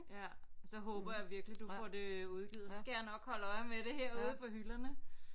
Ja så håber jeg virkelig du får det udgivet så skal jeg nok holde øje med det herude på hylderne